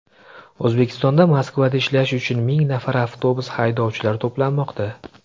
O‘zbekistonda Moskvada ishlash uchun ming nafar avtobus haydovchilari to‘planmoqda.